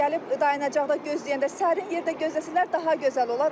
Gəlib dayanacaqda gözləyəndə sərin yerdə gözləsələr daha gözəl olar.